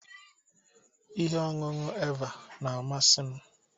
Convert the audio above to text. Ihe ọṅụṅụ Eva na-amasị m